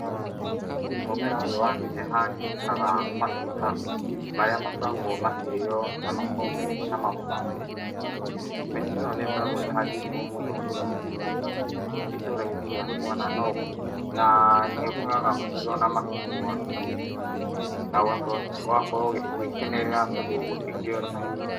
Mũmera ũyu wa neneha ni ũrutaga matunda maria makoragwo makĩrĩo, na makoo me cama mũno. Miti ĩno nĩ ikoragwo ĩhandĩtwo mũno itora-inĩ rĩakwa na ni ũkoraga matunda makigwa na ũgakorwo ũgĩkenerera tondũ gũtikĩuranagio.